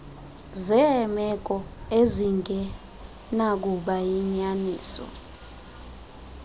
zeemeko ezingenakuba yinyaniso